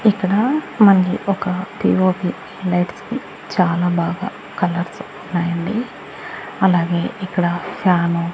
ఇక్కడ మనకి ఒక పిఓపి లైట్స్ కి చాలా బాగా కలర్స్ ఉన్నాయండి అలాగే ఇక్కడ ఫ్యాను --